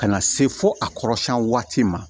Ka na se fo a kɔrɔsɛn waati ma